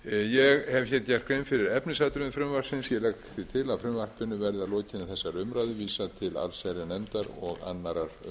ég hef gert grein fyrir efnisatriðum frumvarpsins ég legg því til að frumvarpinu verði að lokinni umræðu vísað til